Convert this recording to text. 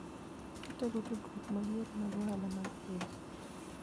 Otego tudruok mag yore mag ohala mag pinje.